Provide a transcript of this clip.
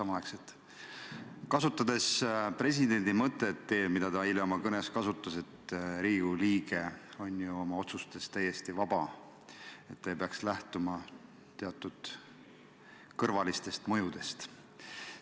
Ma viitan presidendi mõttele, mida ta eile oma kõnes kasutas, et Riigikogu liige on oma otsustes täiesti vaba, ta ei peaks lähtuma teatud kõrvalistest mõjudest.